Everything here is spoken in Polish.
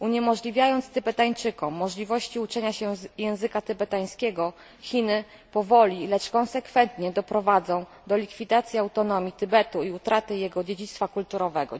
Likwidując Tybetańczykom możliwość uczenia się języka tybetańskiego Chiny powoli, lecz konsekwentnie doprowadzą do likwidacji autonomii Tybetu i utraty jego dziedzictwa kulturowego.